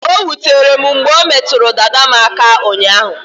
O wutere m mgbe o metụrụ dada m aka ụnyaahụ